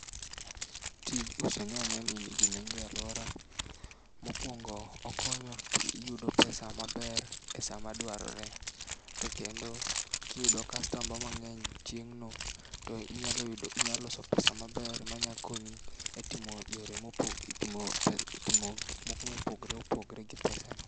Tij uso nyanyani nigi nengo e aluora, mokuongo okonyo to iyudo pesa maber e saa madwarore. To kendo kiyudo customer mangeny chieng' no to inyalo yudo inyalo loso pesa maber ma nya konyi e timo yore mopo etimo gik moko mopogore opogore gi pesano.